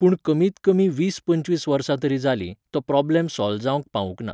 पूण कमीत कमी वीस पंचवीस वर्सां तरी जाली, तो प्रोब्लम सोल्व जावंक पावूंक ना.